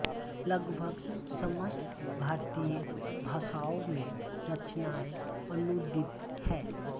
लगभग समस्त भारतीय भाषाओं में रचनाएं अनूदित हैं